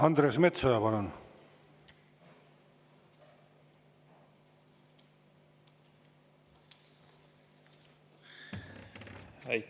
Andres Metsoja, palun!